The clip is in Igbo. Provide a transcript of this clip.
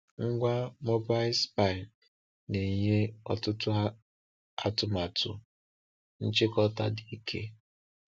Ngwa Mobile Spy na-enye ọtụtụ atụmatụ nchịkọta dị ike!